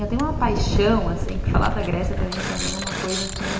Eu tenho uma paixão, assim, que falar da Grécia também para mim é uma coisa assim...